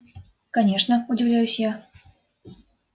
конечно удивляюсь я